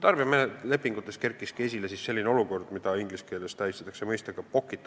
Tarbijalepingute puhul ilmneski, et sageli oli tegu probleemiga, mida inglise keeles nimetatakse pocket arbitration'iks.